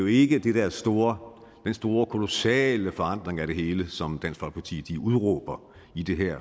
ikke den der store store kolossale forandring af det hele som dansk folkeparti udråber det her